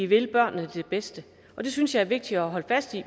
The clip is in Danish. vil børnene det bedste og det synes jeg er vigtigt at holde fast i